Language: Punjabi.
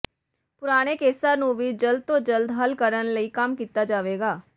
ਪੁਰਾਣੇ ਕੇਸਾਂ ਨੂੰ ਵੀ ਜਲਦ ਤੋਂ ਜਲਦ ਹੱਲ ਕਰਨ ਲਈ ਕੰਮ ਕੀਤਾ ਜਾਵੇਗਾ